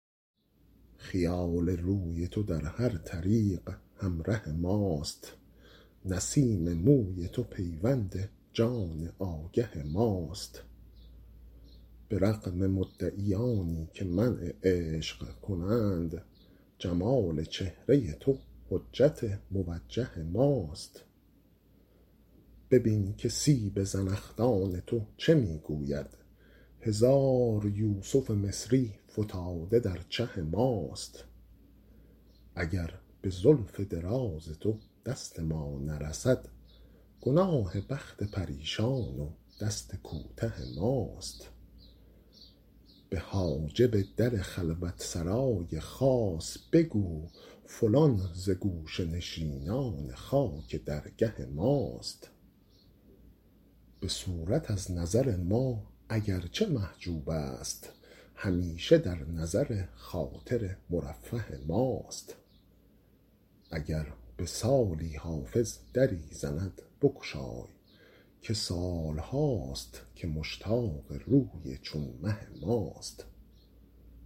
خیال روی تو در هر طریق همره ماست نسیم موی تو پیوند جان آگه ماست به رغم مدعیانی که منع عشق کنند جمال چهره تو حجت موجه ماست ببین که سیب زنخدان تو چه می گوید هزار یوسف مصری فتاده در چه ماست اگر به زلف دراز تو دست ما نرسد گناه بخت پریشان و دست کوته ماست به حاجب در خلوت سرای خاص بگو فلان ز گوشه نشینان خاک درگه ماست به صورت از نظر ما اگر چه محجوب است همیشه در نظر خاطر مرفه ماست اگر به سالی حافظ دری زند بگشای که سال هاست که مشتاق روی چون مه ماست